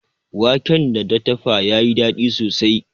Wanken da ta dafa ya yi sosai.